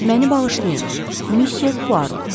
Məni bağışlayın, müsyö Puaro.